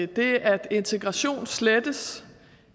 det at integration slettes